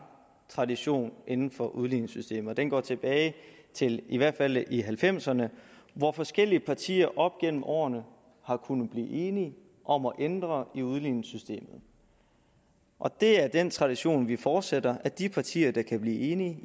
tradition inden for udligningssystemet som går tilbage til i hvert fald nitten halvfemserne hvor forskellige partier op gennem årene har kunnet blive enige om at ændre i udligningssystemet og det er den tradition vi fortsætter at de partier der kan blive enige